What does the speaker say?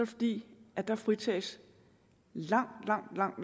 fordi dér fritages langt langt langt